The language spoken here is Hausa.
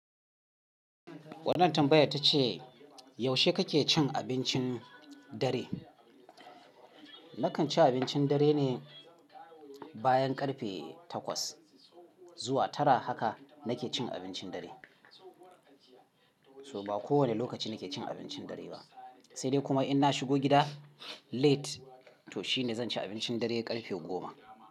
Wannan tambayar tace yaushe kake cin abincin dare? Nakan ci abincin dare ne bayan karfe takwas zuwa tara haka nake cin abincin dare. So ba kowane lokaci nake cin abincin dare ba. Sai dai kuma in na shigo gida late to shine zan ci abincin dare karfe goma.